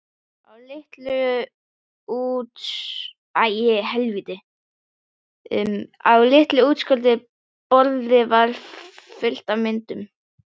Á litlu útskornu borði var fullt af myndum.